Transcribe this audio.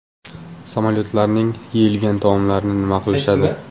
Samolyotlarning yeyilmagan taomlarini nima qilishadi?